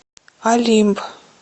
олимп